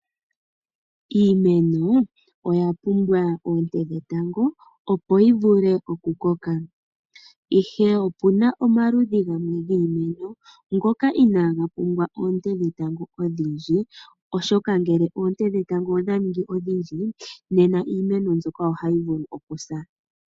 Iimeno oyapumbwa oonte dhetango opo vivule okukoka, ihe opuna omaludhi gamwe giimeno ngoka inaga pumbwa oonte dhetango odhindji oshoka ngele oonte dhetango odha ningi odhindji nena iimeno mbyoka ohayi vulu okusa.